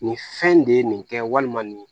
Nin fɛn in de ye nin kɛ walima nin